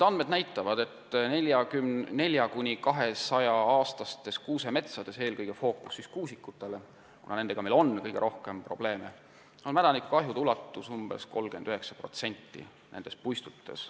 Andmed näitavad, et 4–200-aastastes kuusemetsades – fookus on eelkõige kuusikutel, kuna nendega on meil kõige rohkem probleeme – on mädaniku tekitatud kahju ulatus umbes 39%.